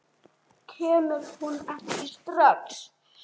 Kemur hún ekki strax?